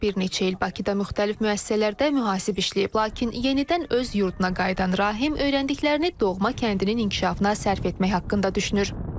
Bir neçə il Bakıda müxtəlif müəssisələrdə mühasib işləyib, lakin yenidən öz yurduna qayıdan Rahim öyrəndiklərini doğma kəndinin inkişafına sərf etmək haqqında düşünür.